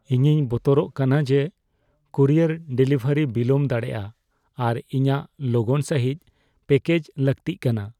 ᱤᱧᱤᱧ ᱵᱚᱛᱚᱨᱚᱜ ᱠᱟᱱᱟ ᱡᱮ ᱠᱩᱨᱤᱭᱟᱨ ᱰᱮᱞᱤᱵᱷᱟᱨᱤ ᱵᱤᱞᱚᱢ ᱫᱟᱲᱮᱭᱟᱜᱼᱟ ᱟᱨ ᱤᱧᱟᱹᱜ ᱞᱚᱜᱚᱱ ᱥᱟᱹᱦᱤᱡ ᱯᱮᱠᱮᱡ ᱞᱟᱹᱠᱛᱤᱜ ᱠᱟᱱᱟ ᱾